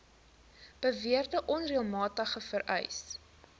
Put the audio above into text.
beweerde onreëlmatigheid vereis